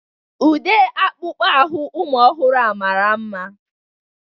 Ude akpụkpọ anụ ụmụ ọhụrụ a mara mma.